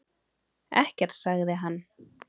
Ekkert, sagði hann.